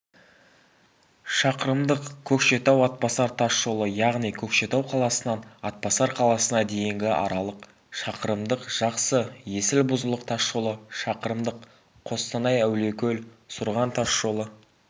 шақырымдық көкшетау-атбасар тасжолы яғни көкшетау қаласынан атбасар қаласына дейінгі аралық шақырымдық жақсы-есіл-бұзылық тасжолы шақырымдық қостанай-әулиекөл-сұрған тасжолы